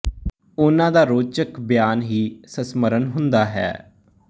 ਉਨ੍ਹਾ ਦਾ ਰੌਚਕ ਬਿਆਨ ਹੀ ਸੰਸਮਰਣ ਹੁੰਦਾ ਹੈ